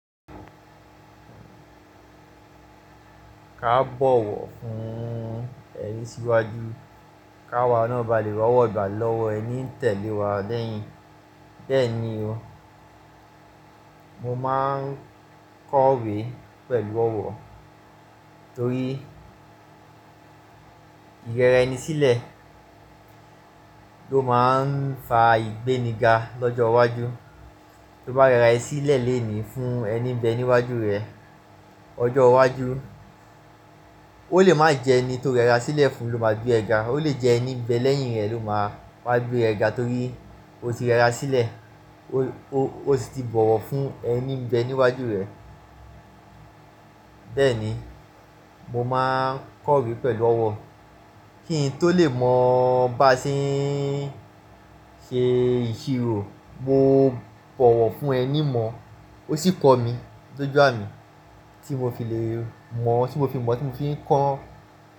Ka bọwọ fún ẹni síwájú ká wa náà ba le rowo gbà lọ́wọ ẹni ń tẹ̀lé wa lẹ́yìn. Bẹ́ẹ̀ni o, mo máa ń kọ̀wé pẹ̀lú ọwọ torí ìyẹrẹ ẹni sílẹ̀ ló máa ń fa ìgbéniga lọ́jọ́ iwájú. Tó bá rẹra ẹ sílẹ̀ lénìí fún ẹni ń bẹ níwájú rẹ, ọjọ́ iwájú ó lè má jẹ ẹni tó rẹra sílẹ̀ fún ló máa gbé ẹ ga. Ó lè jẹ ẹni ń bẹ lẹ́yìn rẹ ló máa wá gbé ẹ ga torí o ti rẹra sílẹ̀, o si ti bọwọ fún ẹni ń bẹ níwájú rẹ. Bẹ́ẹ̀ni, mo máa ń kọ̀wé pẹ̀lú ọwọ. Kí n tó lè mọ̀ bá ṣe ń ṣe ìṣirò, mo bọwọ fún ẹni mọ̀ ó sì kọ mi, doju ami tí mo fi lè mọ̀, tí mo fi mọ̀ tí mo fi ń kọ.